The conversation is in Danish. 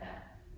Ja